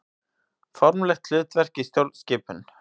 Formlegt hlutverk í stjórnskipun.